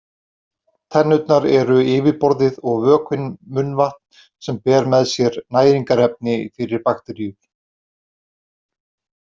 Tennurnar eru yfirborðið og vökvinn munnvatn sem ber með sér næringarefni fyrir bakteríur.